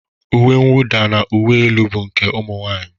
Uwe nwụda na uwe elu bụ nke ụmụ nwaanyị